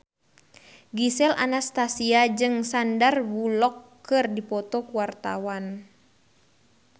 Gisel Anastasia jeung Sandar Bullock keur dipoto ku wartawan